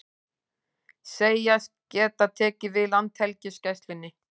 Segjast geta tekið við Landhelgisgæslunni